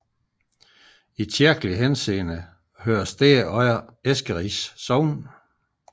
I kirkelig henseende hører stedet under Eskeris Sogn